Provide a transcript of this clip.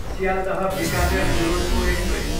Sealdah, Bikaner Duronto express